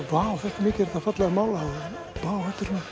hvað þetta er fallega málað vá